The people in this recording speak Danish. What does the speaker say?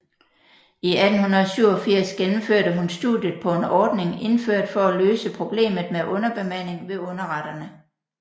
I 1887 gennemførte hun studiet på en ordning indført for at løse problemet med underbemanding ved underretterne